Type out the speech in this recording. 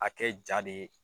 A kɛ jaa de ye